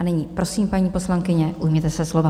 A nyní prosím, paní poslankyně, ujměte se slova.